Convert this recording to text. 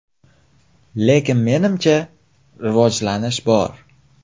Lekin menimcha, rivojlanish bor.